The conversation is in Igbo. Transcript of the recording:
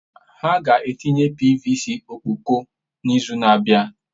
Ha ga-etinye pvc ọkpọkọ n'izu na-abịa.